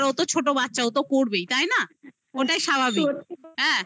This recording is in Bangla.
তো ছোট বাচ্চা. ও তো করবেই. তাই না? ওটাই স্বাভাবিক হ্যাঁ